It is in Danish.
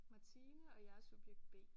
Martine og jeg er subjekt B